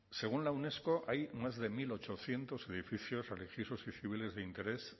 según la unesco hay más de mil ochocientos edificios religiosos y civiles de interés